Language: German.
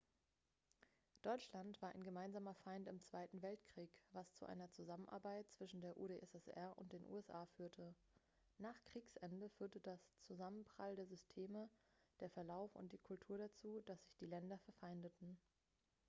deutschland war ein gemeinsamer feind im zweiten weltkrieg was zu einer zusammenarbeit zwischen der udssr und den usa führte nach kriegsende führten der zusammenprall der systeme der verlauf und die kultur dazu dass sich die länder verfeindeten